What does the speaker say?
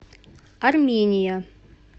армения